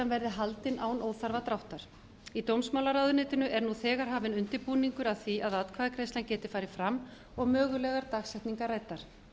verði haldin án óþarfa dráttar í dómsmálaráðuneytinu er nú þegar hafinn undirbúningur að því að atkvæðagreiðslan geti farið fram og mögulegar dagsetningar ræddar